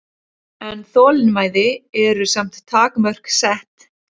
En þolinmæði eru samt takmörk sett